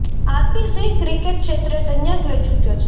RP Singh cricket ક્ષેત્રે સંન્યાસ લઈ ચુક્યો છે